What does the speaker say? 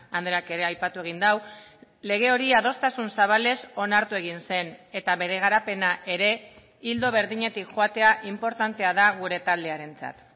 andreak ere aipatu egin du lege hori adostasun zabalez onartu egin zen eta bere garapena ere ildo berdinetik joatea inportantea da gure taldearentzat